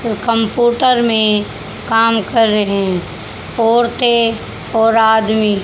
computer में काम कर रहें औरतें और आदमी--